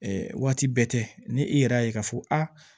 Ɛɛ waati bɛɛ tɛ ni e yɛrɛ y'a ye k'a fɔ a